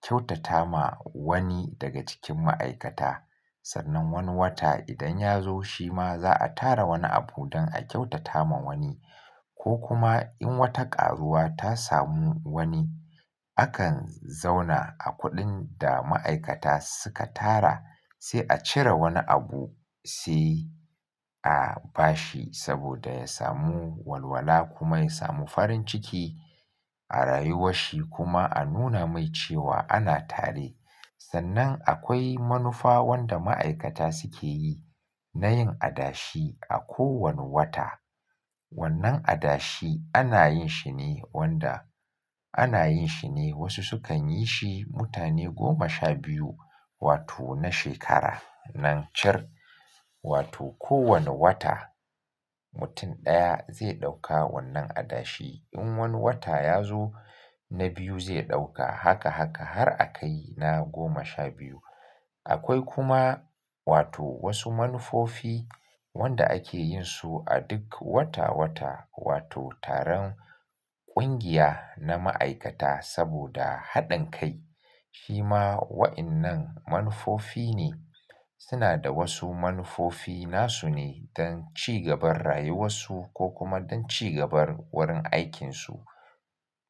kyautata ma wani daga cikin ma'aikata. Sannan wani wata idan ya zo shi ma za'a tara wani abu don a kyautata ma wani ko kuma in wata karuwa ta samu wani, akan zauna a kuɗin da ma'aikata suka tara sai a cire wani abu sai, a bashi saboda ya samu walwala kuma ya samu farin ciki, a rayuwar shi kuma a nuna mai cewa ana tare. Sannan akwai manufa wanda ma'aikata suke yi na yin adashi a kowane wata. Wannan adashi ana yin shi ne wanda, ana yin shi ne wasu sukan yi shi mutane goma sha biyu, wato na shekara nan cir, wato kowane wata, mutum ɗaya zai ɗauka wannan adashi. In wani wata ya zo na biyu zai ɗauka haka haka har a kai na goma sha biyu. Akwai kuma wato wasu manufofi wanda ake yin su a duk wata-wata wato taron ƙungiya na ma'aikata saboda haɗin kai. Shi ma wa'innan manufofi ne. Suna da wasu manufofi nasu ne don cigaban rayuwarsu ko kuma don cigaban wurin aikinsu.